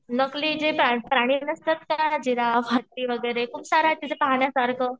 नकली जे प्राणी नसतात का जिराफ, हत्ती वगैरे खूप सारे आहे तिथे पाहण्यासारखं.